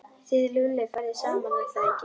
Þið Lúlli farið saman, er það ekki?